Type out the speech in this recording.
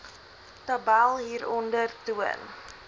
tabel hieronder toon